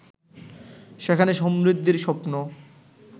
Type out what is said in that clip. সেখানে সমৃদ্ধির স্বপ্ন